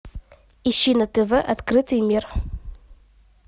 ищи на тв открытый мир